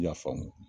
I y'a faamu